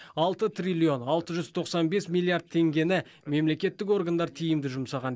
алты триллион алты жүз тоқсан бес миллиард теңгені мемлекеттік органдар тиімді жұмсаған